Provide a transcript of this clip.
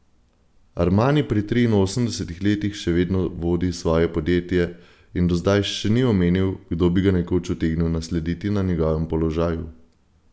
Armani pri triinosemdesetih letih še vedno vodi svoje podjetje in do zdaj še ni omenil, kdo bi ga nekoč utegnil naslediti na njegovem položaju.